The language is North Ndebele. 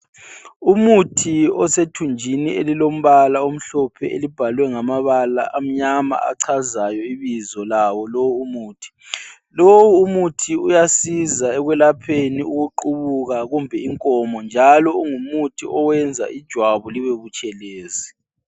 umuthi osethunjini elilombala omhlophe elibhalwe ngamabala amnyama achazayo ibizo lawo lowu umuthi lowu umuthi uyasiza ekwelapheni ukuqubuka kumbe inkomo njalo ungumuthi oyenza ijwabu libe butshelezi